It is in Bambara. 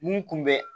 Mun kun bɛ